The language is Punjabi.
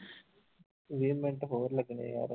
ਵੀਹ ਮਿੰਟ ਹੋਰ ਲੱਗਣੇ ਯਾਰ।